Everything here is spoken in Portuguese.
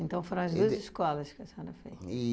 Então, foram as duas escolas que a senhora fez?